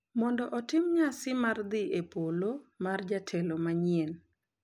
Mondo otim nyasi mar dhi e polo mar jatelo manyien.